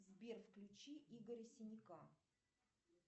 сбер включи игоря синяка